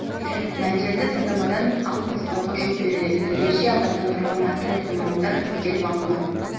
мәндерді таңдамадан алып тастауға жол беріледі дәрежеде абаттандырылған әртүрлі ғимараттар іріктеліп алынған